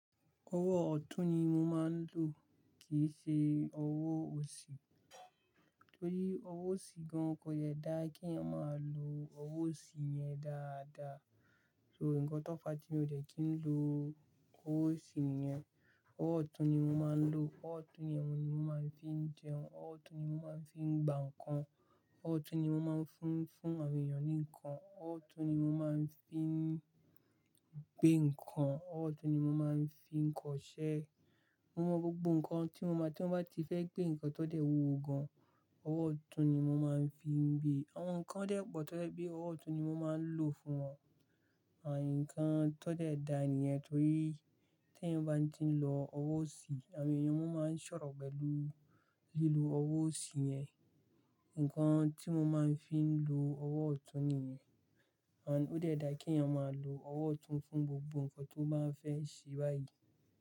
Owó ọ̀tún ni mo máa ń lò kìí n ṣe owó òsì. Torí owó òsì gan kò jẹ dá kí èyàn máa lo owó òsì yẹn dáadáa. So nǹkan tó fà á tí mi ò dẹ́kìn lo ọwọ́ òsì yẹn. Ọwọ́ ọ̀tún ni mo máa ń lò. Ọwọ́ ọ̀tún yẹn mo máa ń fi jẹun. Ọwọ́ ọ̀tún ni mo máa ń fi gba nǹkan. Ọwọ́ ọ̀tún ni mo máa ń fún, fún àwọn èèyàn ní nǹkan. Ọwọ́ ọ̀tún ni mo máa ń fi gbé nǹkan. Ọwọ́ ọ̀tún ni mo máa ń fi kọṣẹ́. Mo mọ̀ gbogbo nǹkan tí mo máa, tí ó bá ti fẹ́ gbe nǹkan tó de wúwo gan-an, ọwọ́ ọ̀tún ni mo máa ń fi gbé e, àwọn nǹkan dẹ̀ wà tó jẹ bi ọwọ́ ọ̀tún ni mo máa ń lò fún wọn. À nǹkan tó dẹ̀ dá nìyẹn torí tí èyàn bá ti ń lo ọwọ́ òsì, àwọn èèyàn máa ń sọ̀rọ̀ pẹ̀lú lílo owó òsì yẹn. Nǹkan tí mo máa ń fi lọ ọwọ́ ọ̀tún nìyẹn. Ànd, ó dẹ̀ dá kí èyàn máa lo owó ọ̀tún fún gbogbo nǹkan tó bá fẹ́ ṣe báyìí.